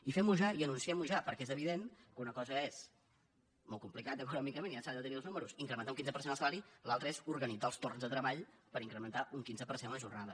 i fem ho ja i anunciem ho ja perquè és evident que una cosa és molt complicat econòmicament se n’han de tenir els números incrementar un quinze per cent els salaris l’altra és organitzar els torns de treball per incrementar un quinze per cent la jornada